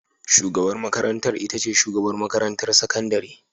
Shugabar makarantar ita ce shugabar makarantar sakandare.